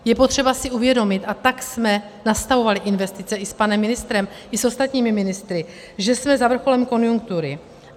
Je potřeba si uvědomit a tak jsme nastavovali investice i s panem ministrem i s ostatními ministry, že jsme za vrcholem konjunktury.